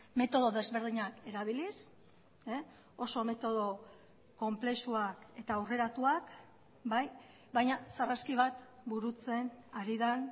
metodo desberdinak erabiliz oso metodo konplexuak eta aurreratuak bai baina sarraski bat burutzen ari den